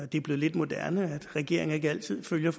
det er blevet lidt moderne at regeringer ikke altid følger